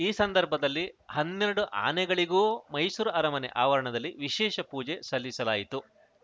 ಈ ಸಂದರ್ಭದಲ್ಲಿ ಹನ್ನೆರಡು ಆನೆಗಳಿಗೂ ಮೈಸೂರು ಅರಮನೆ ಆವರಣದಲ್ಲಿ ವಿಶೇಷ ಪೂಜೆ ಸಲ್ಲಿಸಲಾಯಿತು